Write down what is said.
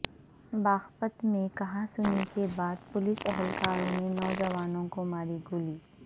باغپت میں کہا سنی کے بعد پولیس اہلکار نے نوجوان کو ماری گولی